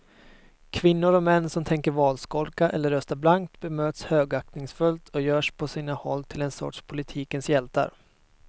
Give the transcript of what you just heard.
Kvinnor och män som tänker valskolka eller rösta blankt bemöts högaktningsfullt och görs på sina håll till en sorts politikens hjältar.